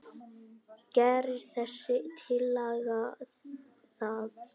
Gerir þessi tillaga það?